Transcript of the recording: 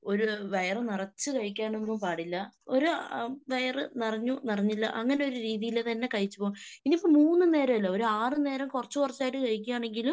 ഒരു വയറ്‌ നിറച്ച് കഴിക്കാനൊന്നും പാടില്ല. ഒരു വയറ് നിറഞ്ഞു നിറഞ്ഞില്ല അങ്ങനൊരു രീതീലെന്നെ കഴിച്ച്പോണം. ഇനിയിപ്പോ മൂന്ന് നേരമല്ല ഒരു ആറ് നേരം കുറച്ചുകുറച്ചായിട്ട് കഴിക്കിയാണെങ്കിലും